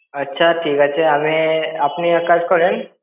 আচ্ছা ঠিক আছে, আমি আপনি এক কাজ করেন।